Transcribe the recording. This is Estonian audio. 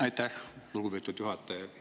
Aitäh, lugupeetud juhataja!